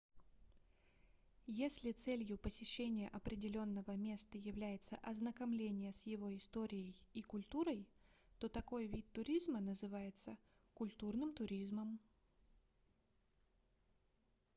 если целью посещения определённого места является ознакомление с его историей и культурой то такой вид туризма называется культурным туризмом